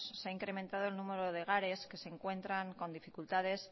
se ha incrementado el número de hogares que se encuentran con dificultades